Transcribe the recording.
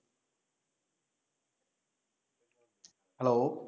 hello